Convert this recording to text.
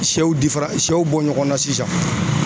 Sɛw difaran ,sɛw bɔ ɲɔgɔnna sisan.